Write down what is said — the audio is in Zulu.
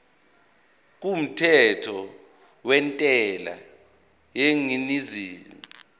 kumthetho wentela yengeniso